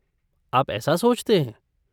आप ऐसा सोचते हैं?